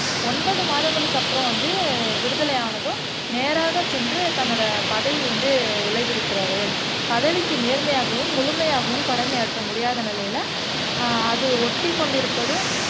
ஒன்பது மாதங்களுக்கு அப்புறம் வந்து விடுதலை ஆனதும் நேராக சென்று தன்னோட பதவி வந்து விலகி இருக்கிறார் பதவிக்கு நேர்மையாகவும் முழுமையாகவும் கடமை ஆற்ற முடியாத நிலையில அது ஒட்டிகொண்டிருப்பது